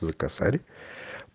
за косарь